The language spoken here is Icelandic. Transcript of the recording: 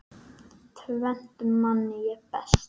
Tvennt man ég best.